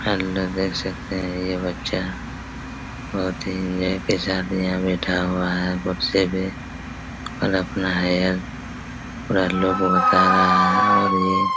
hello देख सकते है ये बच्चा बहोत ही ये के साथ यहाँ बैठा हुआ है कुर्सी पे और अपना हेयर पूरा लोगो को बता रहा है और ये--